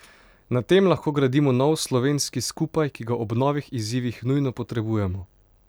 Na tem lahko gradimo nov slovenski skupaj, ki ga ob novih izzivih nujno potrebujemo.